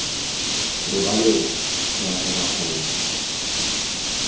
robalela ra tla ra kgona